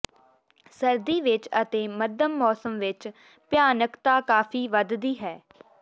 ਸਰਦੀ ਵਿੱਚ ਅਤੇ ਮੱਧਮ ਮੌਸਮ ਵਿੱਚ ਭਿਆਨਕਤਾ ਕਾਫ਼ੀ ਵਧਦੀ ਹੈ